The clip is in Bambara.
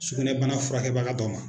Sugunɛbana furakɛbaga dɔ ma